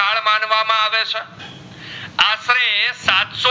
એ સાત